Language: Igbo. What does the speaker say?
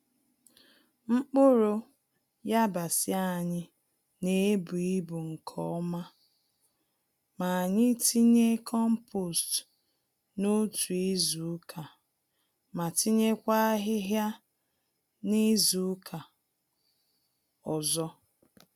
Mkpụrụ yabasị anyị n'ebu-ibu nke ọma, ma anyị tinye kompost n'otu izuka ma tinyekwa ahịhịa nizuka ọzọ.